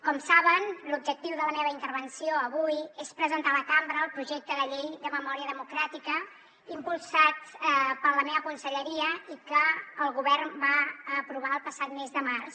com saben l’objectiu de la meva intervenció avui és presentar a la cambra el projecte de llei de memòria democràtica impulsat per la meva conselleria i que el govern va aprovar el passat mes de març